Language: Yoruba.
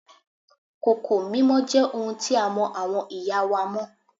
Kòkò mímọ jẹ́ ohun tí a mọ àwọn ìyá wa mọ́